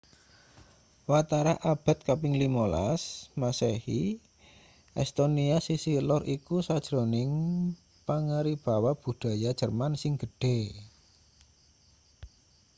watara abad kaping 15 masehi estonia sisih lor iku sajroning pangaribawa budaya jerman sing gedhe